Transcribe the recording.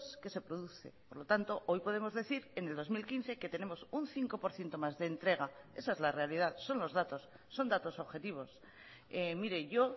que se produce por lo tanto hoy podemos decir en el dos mil quince que tenemos un cinco por ciento más de entrega esa es la realidad son los datos son datos objetivos mire yo